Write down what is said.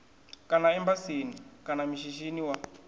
kana embasini kana mishinini wa